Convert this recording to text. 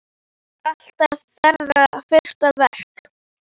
Það er alltaf þeirra fyrsta verk.